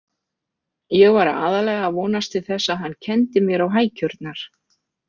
Ég var aðallega að vonast til þess að hann kenndi mér á hækjurnar.